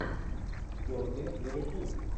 бернли ливерпуль